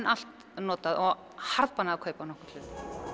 allt notað og harðbannað að kaupa nokkurn hlut